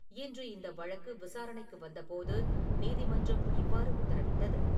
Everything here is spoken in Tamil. இன்று இந்த வழக்கு விசாரணைக்கு வந்தபோது நீதிமன்றம் இவ்வாறு உத்தரவிட்டது.